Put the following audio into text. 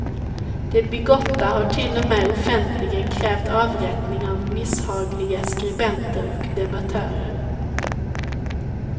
De bigotta har till och med offentligen krävt avrättning av misshagliga skribenter och debattörer.